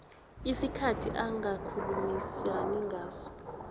isikhathi angakhulumisana ngaso